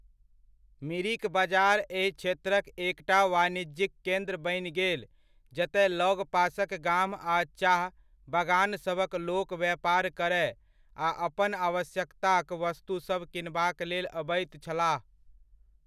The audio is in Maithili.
मिरिक बजार एहि क्षेत्रक एकटा वाणिज्यिक केन्द्र बनि गेल जतय लगपासक गाम आ चाह बगानसभक लोक व्यापार करय आ अपन आवश्यकताक वस्तुसभ किनबाक लेल अबैत छलाह।